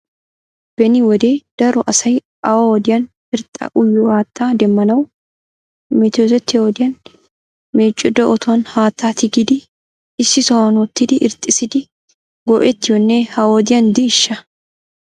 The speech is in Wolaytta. Beni wode daro asay awa wodiyan irxxa uyiyo haattaa demmanaw metotiyo wodiyan meeccichido otuwan haattaa tigidi issi sohuwan wottidi irxxissidi go"ettiyonne ha wodiyan diishsha?